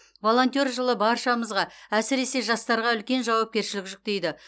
волонтер жылы баршамызға әсірсе жастарға үлкен жауапкершілік жүктейді